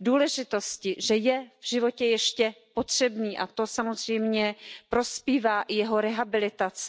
důležitosti, že je v životě ještě potřebný, a to samozřejmě prospívá i jeho rehabilitaci.